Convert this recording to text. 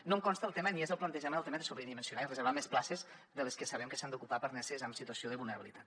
no em consta el tema ni és el plantejament el tema de sobredimensionar i reservar més places de les que sabem que s’han d’ocupar per neses en situació de vulnerabilitat